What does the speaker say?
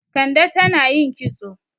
Kande tan ayin kitso.